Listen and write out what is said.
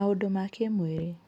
Maũndũ ma kĩĩmwĩrĩ: